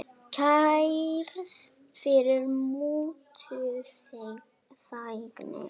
Kærð fyrir mútuþægni